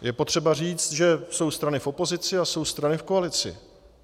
Je potřeba říct, že jsou strany v opozici a jsou strany v koalici.